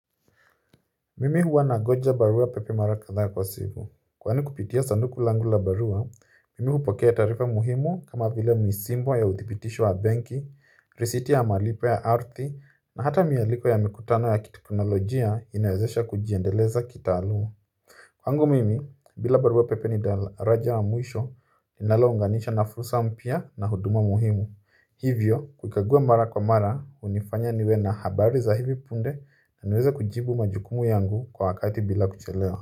Mimi huwa nangoja barua pepe mara kadhaa kwa siku. Kwani kupitia sanduku langu la barua, mimi hupokea taarifa muhimu kama vile misimbo ya uthipitisho wa benki, risiti ya malipo ya ardhi, na hata mialiko ya mikutano ya kiteknolojia inawezesha kujiendeleza kitaalum. Kwangu mimi, bila barua pepe ni daraja ya mwisho, linalounganisha na fursa mpya na huduma muhimu. Hivyo, kukagua mara kwa mara, hunifanya niwe na habari za hivi punde na naweza kujibu majukumu yangu kwa wakati bila kuchelewa.